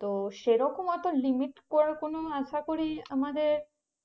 তো সে রকম অত limit করার কোনো আশাকরি আমাদের